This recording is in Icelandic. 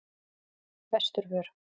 Vesturvör